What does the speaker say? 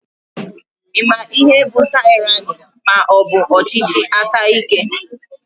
I maara ihe bụ tyrani maọbu ọchịchị aka ike?